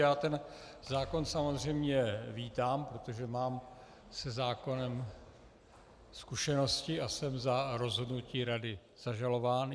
Já ten zákon samozřejmě vítám, protože mám se zákonem zkušenosti a jsem za rozhodnutí rady zažalován.